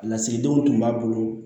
A lasigidenw tun b'a bolo